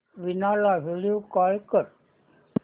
वीणा ला video call कर